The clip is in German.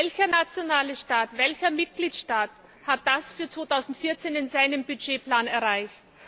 Welcher Staat, welcher Mitgliedstaat hat das für 2014 in seinem Budgetplan erreicht?